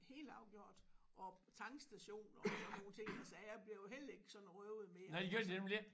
Helt afgjort og tankstationer og sådan nogle ting og sager bliver jo heller ikke sådan røvet mere altså